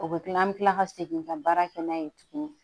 O bɛ kila an bɛ tila ka segin ka baara kɛ n'a ye tuguni